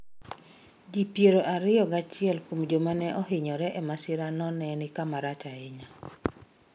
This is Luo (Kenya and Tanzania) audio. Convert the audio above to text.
Ji piero ariyo gachiel kuom joma ne ohinyore e masirano, ne ni kama rach ahinya.